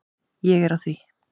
Ég er á því.